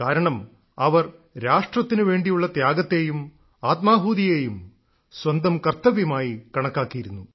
കാരണം അവർ രാഷ്ട്രത്തിനു വേണ്ടിയുള്ള ത്യാഗത്തേയും ആത്മാഹൂതിയെയും സ്വന്തം കർത്തവ്യമായി കണക്കാക്കിയിരുന്നു